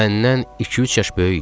Məndən iki-üç yaş böyük idi.